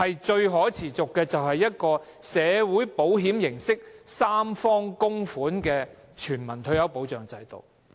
最可持續的，就是以社會保險形式設立，由三方供款的全民退休保障制度。